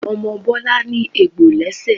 Omo Bọlá ní egbò lẹ́ṣẹ̀